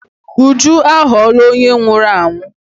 Uju aghọọla onye nwụrụ anwụ.